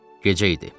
Gecə idi.